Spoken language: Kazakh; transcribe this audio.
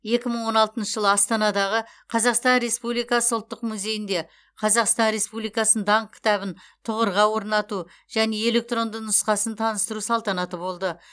екі мың он алтыншы жылы астанадағы қазақстан республикасы ұлттық музейінде қазақстан республикасының даңқ кітабын тұғырға орнату және электронды нұсқасын таныстыру салтанаты болды